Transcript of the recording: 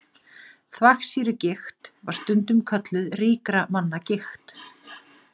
Þvagsýrugigt var stundum kölluð ríkra manna gigt.